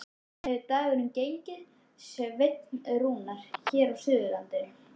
Hvernig hefur dagurinn gengið, Sveinn Rúnar, hér á Suðurlandinu?